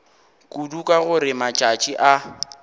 kudu ka gore matšatši a